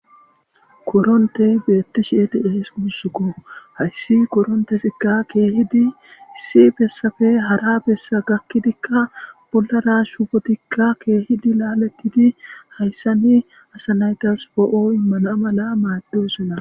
Koronte beetti shieti eesi guussukko hayssi koronte sikka keehidi issi bessafe hara beessa gakkidikka bollara shubotikka keehidi laalatiti hayssani asanaytas foo'o mana mala maaddo sona.